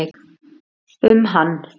um hann.